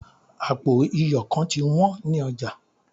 apo iyo kan ti wan ni oja